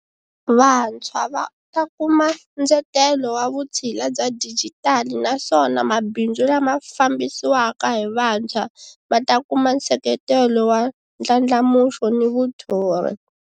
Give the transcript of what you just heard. Vantshwa va ta kuma ndzetelo wa vutshila bya dijitali naswona mabindzu lama fambisiwaka hi vantshwa ma ta kuma nseketelo wa ndlandlamuxo ni vuthori.